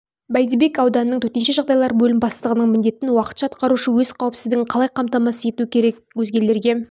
бәйдібек ауданының төтенше жағдайлар бөлім бастығының міндетін уақытша атқарушы өз қауіпсіздігін қалай қамтамасыз ету керек өзгелерге